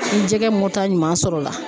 Ni jɛgɛ moto ɲuman sɔrɔ la